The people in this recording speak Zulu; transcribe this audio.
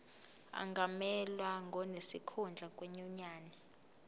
angamelwa ngonesikhundla kwinyunyane